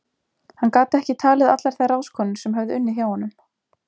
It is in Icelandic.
Hann gat ekki talið allar þær ráðskonur sem höfðu unnið hjá honum.